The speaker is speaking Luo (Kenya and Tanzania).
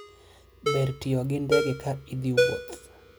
ber tiyo gi ndege ka ithi wuoth